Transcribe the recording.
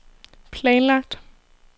planlagt